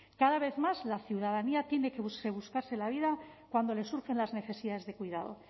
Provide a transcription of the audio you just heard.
cada vez más la ciudadanía tiene que buscarse la vida cuando les surgen las necesidades de cuidado